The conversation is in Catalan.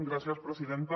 gràcies presidenta